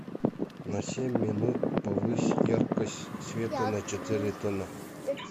на семь минут повысь яркость света на четыре тона